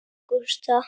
Þín Ágústa.